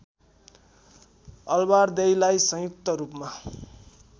अलबारदेईलाई संयुक्त रूपमा